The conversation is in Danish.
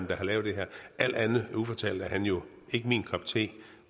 der har lavet det her alt andet ufortalt er han jo ikke min kop te